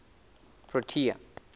protea